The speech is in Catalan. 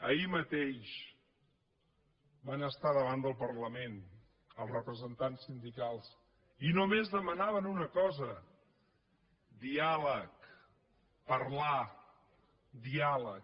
ahir mateix van estar davant del parlament els representants sindicals i només demanaven una cosa diàleg parlar diàleg